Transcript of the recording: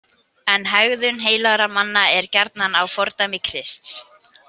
En hegðun heilagra manna er gjarnan að fordæmi Krists.